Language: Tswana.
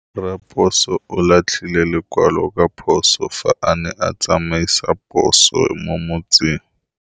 Raposo o latlhie lekwalô ka phosô fa a ne a tsamaisa poso mo motseng.